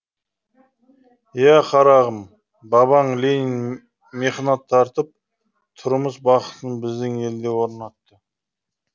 иә қарағым бабаң ленин мехнат тартып тұрмыс бақытын біздің елде орнатты